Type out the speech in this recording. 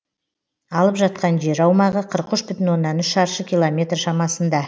алып жатқан жер аумағы қырық үш бүтін оннан үш шаршы километр шамасында